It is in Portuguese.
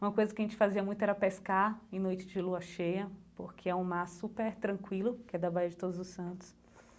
Uma coisa que a gente fazia muito era pescar em noite de lua cheia, porque é um mar super tranquilo, que é da Baía de Todos os Santos.